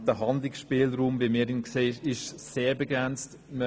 Der Handlungsspielraum, so wie wir ihn sehen, ist sehr begrenzt.